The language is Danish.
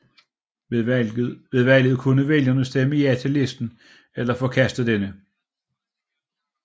Ved valget kune vælgerne stemme ja til listen eller forkaste denne